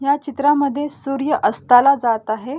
ह्या चित्रामध्ये सूर्य अस्ताला जात आहे.